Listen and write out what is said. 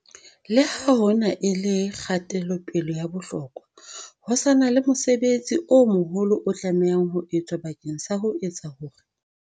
Le ha hona e le kgatelo-pele ya bohlokwa, ho sa na le mosebetsi o moholo o tlamehang ho etswa bakeng sa ho etsa hore